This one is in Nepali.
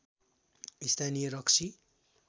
स्‍थानीय रक्सी